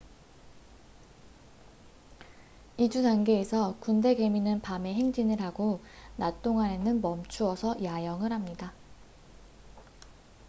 이주 단계에서 군대 개미는 밤에 행진을 하고 낮 동안에는 멈추어서 야영을 합니다